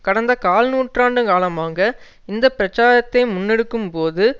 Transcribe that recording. கடந்த கால் நூற்றாண்டு காலமாக இந்த பிரச்சாரத்தை முன்னெடுக்கும் போது